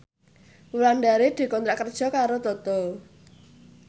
Wulandari dikontrak kerja karo Toto